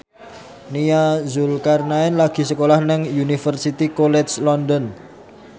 Nia Zulkarnaen lagi sekolah nang Universitas College London